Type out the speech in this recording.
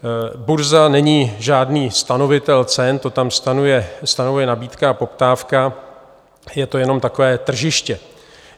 Burza není žádný stanovitel cen, to tam stanovuje nabídka a poptávka, je to jenom takové tržiště.